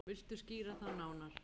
Viltu skýra það nánar?